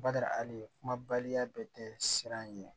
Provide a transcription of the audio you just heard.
Bada hali kumabaya bɛɛ tɛ siran ɲɛ